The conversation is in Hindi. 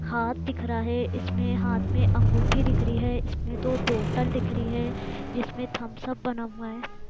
हाथ दिख रहा है इसमें हाथ में अंगूठी दिख रही है इसमें दो बॉटल दिख रही है जिसमें थम्स अप बना हुआ है।